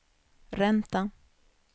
ränta